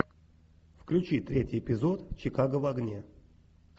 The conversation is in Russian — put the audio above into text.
включи третий эпизод чикаго в огне